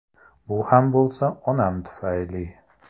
Bu ham bo‘lsa onam tufayli!